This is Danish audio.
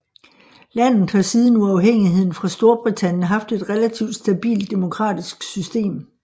Landet har siden uafhængigheden fra Storbritannien haft et relativt stabilt demokratisk system